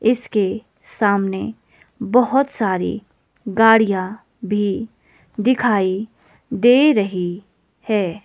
इसके सामने बहुत सारी गाड़ियां भी दिखाई दे रही है।